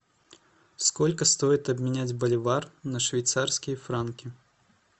сколько стоит обменять боливар на швейцарские франки